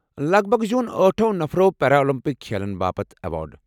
لگ بگ زیوٗن ٲٹھو نفرو پیرالِمپک کھیلن باپت ایوارڑ۔